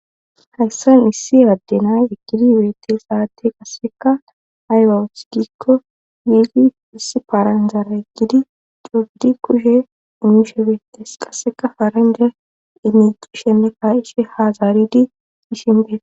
Hayssa misi addenay ekkidi weete saate gasseka aywawusgikko wiigi iss paranzare gidi cogdi kushe umshe beetes qasseka faranje ineq shemme kaishe hazaaridi ishinbe